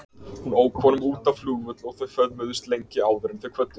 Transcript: Hún ók honum út á flugvöll og þau föðmuðust lengi áður en þau kvöddust.